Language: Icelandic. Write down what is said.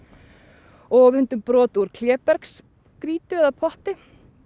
og við fundum brot úr klébergsgrýtu eða potti